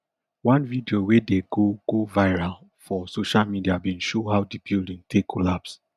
one video wey dey go go viral for social media bin show how di building take collapse